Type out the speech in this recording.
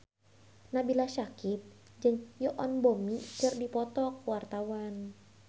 Nabila Syakieb jeung Yoon Bomi keur dipoto ku wartawan